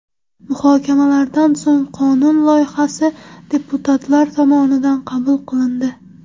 Muhokamalardan so‘ng qonun loyihasi deputatlar tomonidan qabul qilindi.